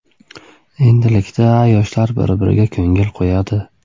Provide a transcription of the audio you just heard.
Endilikda yoshlar bir-biriga ko‘ngil qo‘yadi.